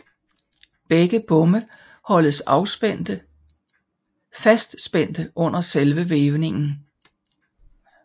Begge bomme holdes fastspændte under selve vævningen